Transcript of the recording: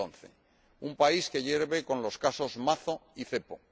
2011 un país que hierve con los casos Mazo y Cepo